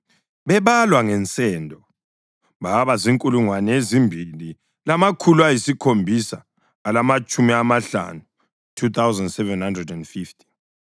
bebalwa ngensendo, babazinkulungwane ezimbili lamakhulu ayisikhombisa alamatshumi amahlanu (2,750).